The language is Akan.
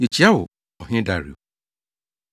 Yekyia wo, ɔhene Dario.